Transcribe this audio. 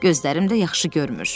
Gözlərim də yaxşı görmür.